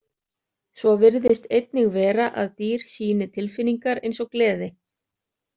Svo virðist einnig vera að dýr sýni tilfinningar eins og gleði.